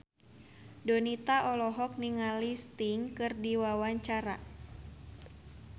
Donita olohok ningali Sting keur diwawancara